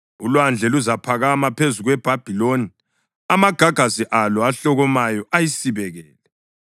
Ulwandle luzaphakama phezu kweBhabhiloni; amagagasi alo ahlokomayo ayisibekele.